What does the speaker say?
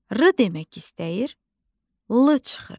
R demək istəyir, l çıxır.